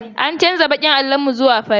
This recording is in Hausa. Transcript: An canza baƙin allon mu zuwa fari.